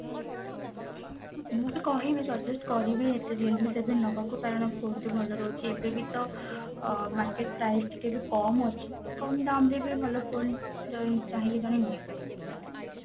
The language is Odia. ମୁଁ ତ କହିବି suggest କରିବି realme seven ନବାକୁ କାରଣ ବହୁତ ଭଲ ରହୁଛି ଏବେ ବି ତ ଅ market price ଟିକେ ବି କମ ଅଛି କମ ଦାମ୍ ରେ ବି ଭଲ phone ଜଣେ ଚାହିଁଲେ ଜଣେ ନେଇ ପାରିବେ ଆରମ ସେ